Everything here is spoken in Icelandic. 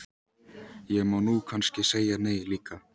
Ég má nú kannski segja nei líka.